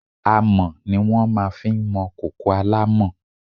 Àmọ́ ni wọ́n máa fi ń mọ kòkò alámọ̀.